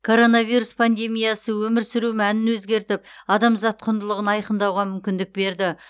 коронавирус пандемиясы өмір сүру мәнін өзгертіп адамзат құндылығын айқындауға мүмкіндік берді